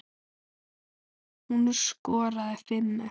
Hún skoraði fimm mörk.